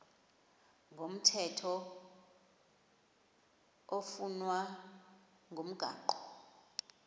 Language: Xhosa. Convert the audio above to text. komthetho oflunwa ngumgago